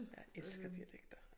Jeg elsker dialekter